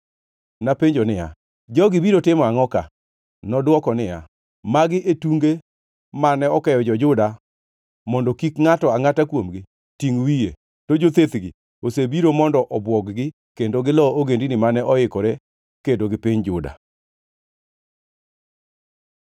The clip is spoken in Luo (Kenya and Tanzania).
Napenjo niya, “Jogi obiro timo angʼo ka?” Nodwoko niya, “Magi e tunge mane okeyo jo-Juda mondo kik ngʼato angʼata kuomgi tingʼ wiye; to jothethgi osebiro mondo obwog-gi kendo gilo ogendini mane oikore kedo gi piny Juda.”